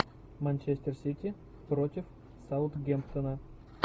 манчестер сити против саутгемптона